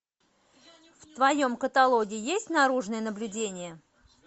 в твоем каталоге есть наружное наблюдение